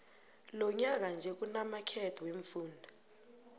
lonyaka nje kunamakhetho wemfunda